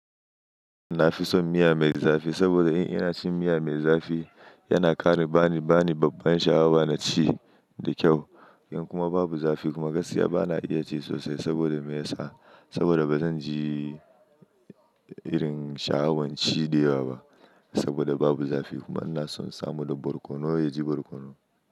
Na fi son miya mai zafi saboda in ina cin miya mai zafi, yana ƙara bani, bani babban sha'awa na ci da kyau. In kuma babu zafi kuma gaskiya bana iya ci sosai saboda me ya sa? Saboda bazan ji irin sha'awan ci dayawa ba saboda babu zafi kuma ina son samo da barkono, ya ji barkono.